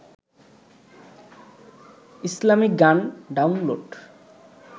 Islamic গান download